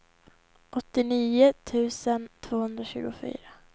åttionio tusen tvåhundratjugofyra